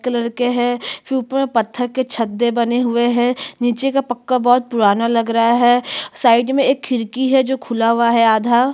colour के है फिर ऊपर में पत्थर के छते बने हुए है नीचे का पक्का बहोत पुराना लग रहा है साइड एक खिड़की है जो खुला हुआ है आधा--